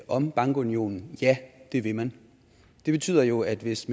om bankunionen at ja det ville man det betyder jo at hvis